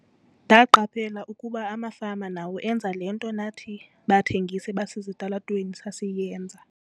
"Ndaqaphela ukuba amafama nawo enza le nto nathi bathengisi basesitalatweni sasiyenza."